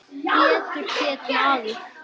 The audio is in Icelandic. Pétur hét maður.